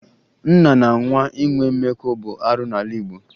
Nna na nwa inwe mmekọ bụ arụ n'ala Igbo